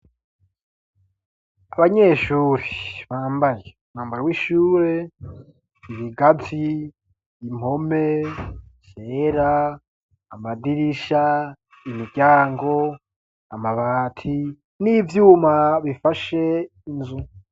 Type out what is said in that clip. Abanyeshuri bambaje mwambaro w'ishure ibigazi impome sera amadirisha imiryango amabati n'ivyuma bifashe inzu.